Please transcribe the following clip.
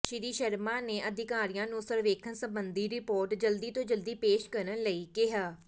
ਸ੍ਰੀ ਸ਼ਰਮਾ ਨੇ ਅਧਿਕਾਰੀਆਂ ਨੂੰ ਸਰਵੇਖਣ ਸੰਬੰਧੀ ਰਿਪੋਰਟ ਜਲਦੀ ਤੋਂ ਜਲਦੀ ਪੇਸ਼ ਕਰਨ ਲਈ ਕਿਹਾ